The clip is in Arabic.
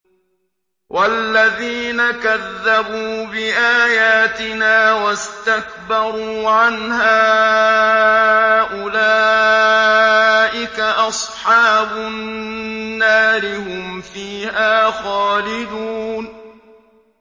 وَالَّذِينَ كَذَّبُوا بِآيَاتِنَا وَاسْتَكْبَرُوا عَنْهَا أُولَٰئِكَ أَصْحَابُ النَّارِ ۖ هُمْ فِيهَا خَالِدُونَ